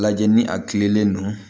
Lajɛ ni a kilennen don